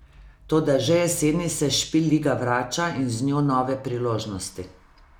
Toda že jeseni se Špil liga vrača in z njo nove priložnosti.